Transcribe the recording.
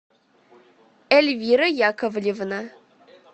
эльвира яковлевна